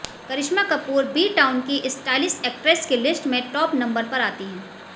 करिश्मा Kapoor B town की stylish actress की list में टॉप नंबर पर आती है